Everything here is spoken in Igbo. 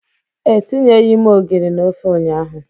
Etinyeghị m ogiri na ofe ụnyahụ.